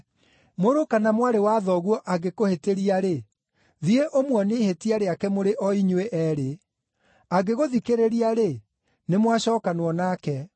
“Mũrũ kana mwarĩ wa thoguo angĩkũhĩtĩria-rĩ, thiĩ ũmuonie ihĩtia rĩake mũrĩ o inyuĩ eerĩ. Angĩgũthikĩrĩria-rĩ, nĩmwacookanwo nake.